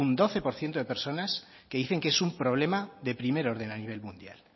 doce por ciento de personas que dicen que es un problema de primer orden a nivel mundial